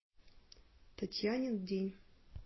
татьянин день